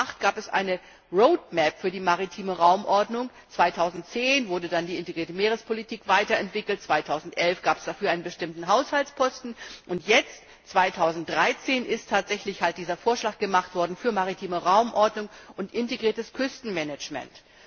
2008 gab es eine Roadmap für die maritime Raumordnung, 2010 wurde dann die integrierte Meerespolitik weiterentwickelt, 2011 gab es dafür einen bestimmten Haushaltsposten und jetzt 2013 ist tatsächlich dieser Vorschlag gemacht worden für maritime Raumordnung und integriertes Küstenmanagement.